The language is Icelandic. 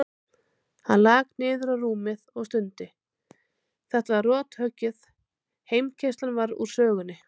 Hann lak niður á rúmið og stundi, þetta var rothöggið, heimkeyrslan var úr sögunni.